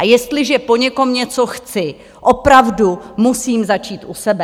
A jestliže po někom něco chci, opravdu musím začít u sebe.